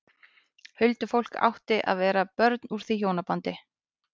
Huldufólk átti að vera börn úr því hjónabandi.